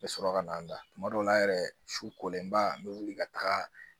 N bɛ sɔrɔ ka na n da tuma dɔw la yɛrɛ su kolenba n bɛ wuli ka taga